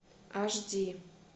аш ди